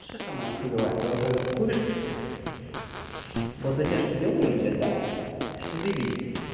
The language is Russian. вообще самое хуёвая тогда когда ты куришь вот затяжку делаешь блядь да всё заебись